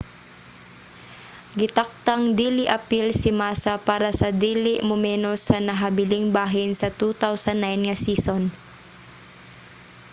gitakdang dili apil si massa para sa dili mumenos sa nahabiling bahin sa 2009 nga season